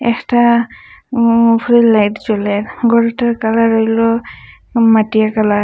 একটা মুভি -র লাইট জ্বলে ঘরটার কালার হইলো মাটিয়া কালার ।